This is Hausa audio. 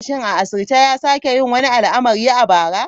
Shin a asirce ya sake yin wani al'amari a bara?